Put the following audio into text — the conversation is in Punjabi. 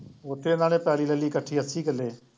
ਉੱਥੇ ਨਾਲੇ ਪੈਲੀ ਲੈ ਲਈ ਇਕੱਠੀ ਅੱਸੀ ਕਿੱਲੇ